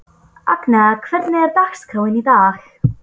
Agnea, hvernig er dagskráin í dag?